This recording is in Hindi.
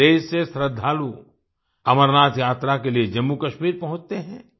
पूरे देश से श्रद्धालु अमरनाथ यात्रा के लिए जम्मूकश्मीर पहुँचते हैं